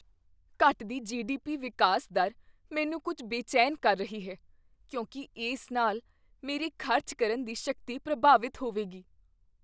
ਘਟਦੀ ਜੀ.ਡੀ.ਪੀ. ਵਿਕਾਸ ਦਰ ਮੈਨੂੰ ਕੁੱਝ ਬੇਚੈਨ ਕਰ ਰਹੀ ਹੈ ਕਿਉਂਕਿ ਇਸ ਨਾਲ ਮੇਰੀ ਖ਼ਰਚ ਕਰਨ ਦੀ ਸ਼ਕਤੀ ਪ੍ਰਭਾਵਿਤ ਹੋਵੇਗੀ।